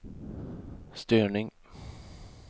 störning